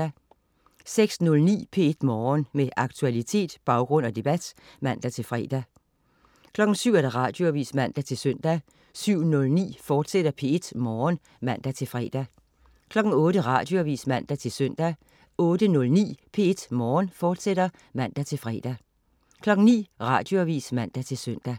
06.09 P1 Morgen. Med aktualitet, baggrund og debat (man-fre) 07.00 Radioavis (man-søn) 07.09 P1 Morgen, fortsat (man-fre) 08.00 Radioavis (man-søn) 08.09 P1 Morgen, fortsat (man-fre) 09.00 Radioavis (man-søn)